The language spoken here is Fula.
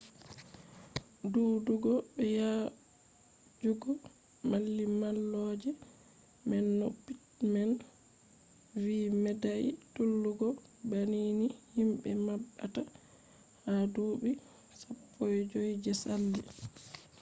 duudugo be yaajugo mallimalloje man no pittman vi medai tullugo banni ni himbe mabbata ha duubi 15 je sali